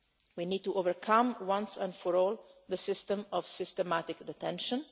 We need to overcome once and for all the system of systematic detention.